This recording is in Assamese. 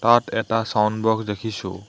তাত এটা চাউণ্ড বক্স দেখিছোঁ।